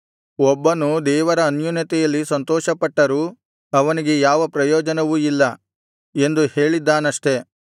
ಒಬ್ಬನು ದೇವರ ಅನ್ಯೋನ್ಯತೆಯಲ್ಲಿ ಸಂತೋಷಪಟ್ಟರೂ ಅವನಿಗೆ ಯಾವ ಪ್ರಯೋಜನವೂ ಇಲ್ಲ ಎಂದು ಹೇಳಿದ್ದಾನಷ್ಟೆ